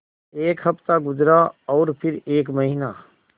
एक हफ़्ता गुज़रा और फिर एक महीना